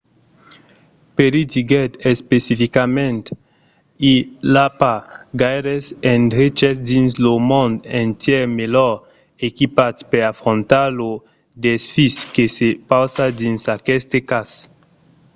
perry diguèt especificament i a pas gaires endreches dins lo mond entièr melhor equipats per afrontar lo desfís que se pausa dins aqueste cas.